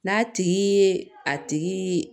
N'a tigi ye a tigi